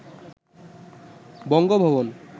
Bangabhaban